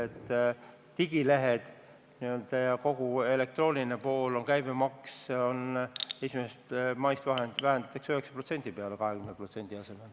See puudutab digilehti ja kogu elektroonilist poolt, mille käibemaksu vähendatakse 1. maist seniselt 20%-lt 9%-le.